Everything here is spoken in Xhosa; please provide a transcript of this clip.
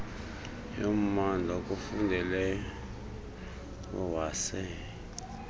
yommandla akufundeleyo waze